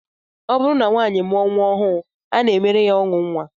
Ọ bụrụ na nwaanyị mụọ nnwa ọhụụ, a na-emere ya ọṅụ nnwa